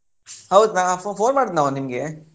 ಹೌದು ನಾ phone ಮಾಡಿದ್ನಾ ನಿಂಗೆ?